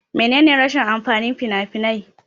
Mene ne rashin amfanin fina-finai?